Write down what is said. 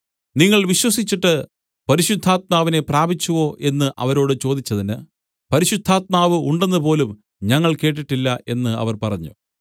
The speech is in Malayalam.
നിങ്ങൾ വിശ്വസിച്ചിട്ട് പരിശുദ്ധാത്മാവിനെ പ്രാപിച്ചുവോ എന്ന് അവരോട് ചോദിച്ചതിന് പരിശുദ്ധാത്മാവ് ഉണ്ടെന്നുപോലും ഞങ്ങൾ കേട്ടിട്ടില്ല എന്ന് അവർ പറഞ്ഞു